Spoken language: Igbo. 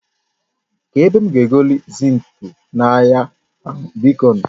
Ka ebe m ga egoli zinki n'ahia a biko nu?